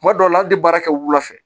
Tuma dɔw la hali baara kɛ wula fɛ